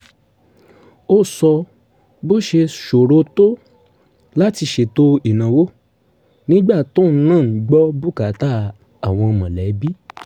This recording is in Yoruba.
ó sọ bó ṣe ṣòro tó láti ṣètò ìnáwó nígbà tóun náà ń gbọ́ bùkátà àwọn mọ̀lẹ́bí